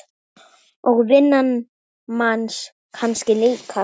Og vinnan manns kannski líka.